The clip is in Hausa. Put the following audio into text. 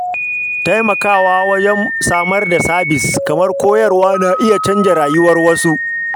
Tallafawa ta hanyar samar da sabis kamar koyarwa na iya canza rayuwar wasu.